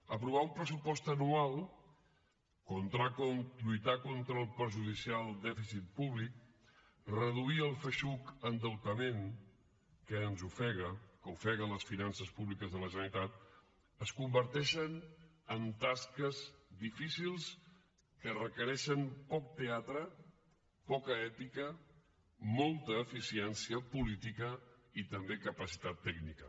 aprovar un pressupost anual lluitar contra el perjudicial dèficit públic reduir el feixuc endeutament que ens ofega que ofega les finances públiques de la generalitat es converteixen en tasques difícils que requereixen poc teatre poca èpica molta eficiència política i també capacitat tècnica